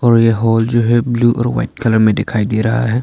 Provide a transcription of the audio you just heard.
और यह हॉल जो है ब्लू और वाइट कलर में दिखाई दे रहा है।